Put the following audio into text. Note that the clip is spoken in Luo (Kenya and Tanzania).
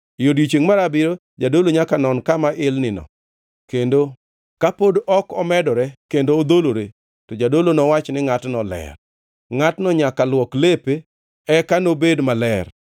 E odiechiengʼ mar abiriyo jadolo nyaka non kama ilnino, kendo ka pod ok omedore kendo odholore, to jadolo nowach ni ngʼatno ler. Ngʼatno nyaka luok lepe eka nobed maler.